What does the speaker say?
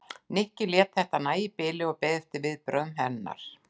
Nikki lét þetta nægja í bili og beið eftir viðbrögðum hennar.